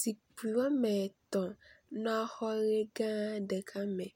zikpi wɔmetɔ̃ le xɔ yi.gã ɖeka me